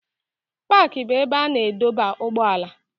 Paaki bụ ebe a na-adọba ụgbọala.